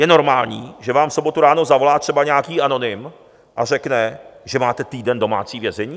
Je normální, že vám v sobotu ráno zavolá třeba nějaký anonym a řekne, že máte týden domácí vězení?